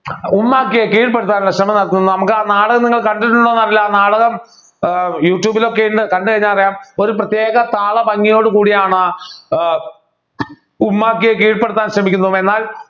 ഉമ്മാക്കിയേ കീഴ്‌പ്പെടുത്താനുള്ള ശ്രമം നടത്തുന്നു നമുക്കാ നാടകം നിങ്ങൾക്ക് കണ്ടിട്ടുണ്ടോ എന്നറിയില്ല നാടകം ആഹ് യൂട്യൂബിൽ ഒക്കെയുണ്ട് കണ്ടു കഴിഞ്ഞാ അറിയാം ഒരു പ്രത്യേക താളം ഭംഗിയോടെ കൂടിയാണ് ഏർ ഉമ്മാക്കിയെ കീഴ്‌പ്പെടുത്താൻ ശ്രമിക്കുന്നത് എന്നാൽ